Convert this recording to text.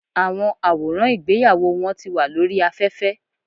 Àwọn àwòràn ìgbéyàwó wọn ti wà lórí aféfé